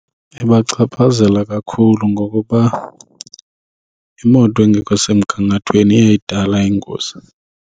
Ibachaphazela kakhulu ngokuba imoto engekho semgangathweni iyayidala ingozi.